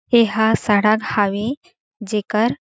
ऐ हा सड़क हावे जेकर--